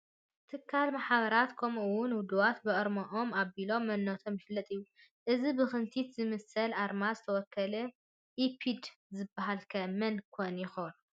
ትካላት፣ ማሕበራት ከምኡውን ውድባት ብኣርምኦም ኣቢሉ መንነቶም ይፍለጥ እዩ፡፡ እዚ ብኽንቲት ዝመስል ኣርማ ዝተወከለ ኢፕድ ዝበሃል ከ መን ኮን ይኾን?